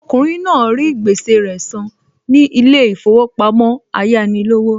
Okùnrin náà rí gbèsè rẹ san ní ilé ìfowópamọ́ Ayánilówó